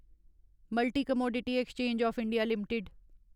multi commodity exchange of India limited